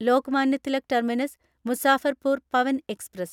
Lokmanya Tilak terminus Muzaffarpur Pawan express